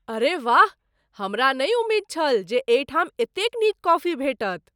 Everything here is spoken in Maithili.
अरे वाह! हमरा नहि उमेद छल जे एहिठाम एतेक नीक कॉफी भेटत।